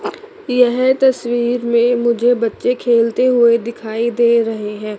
यह तस्वीर में मुझे बच्चे खेलते हुए दिखाई दे रहे हैं।